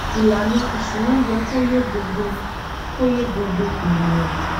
ìlànà ìṣúná yẹ kó yé gbogbo kó yé gbogbo ènìyàn